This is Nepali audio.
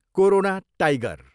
Corona tiger.